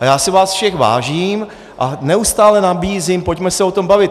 A já si vás všech vážím a neustále nabízím: Pojďme se o tom bavit!